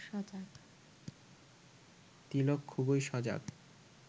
তিলক খুবই সজাগ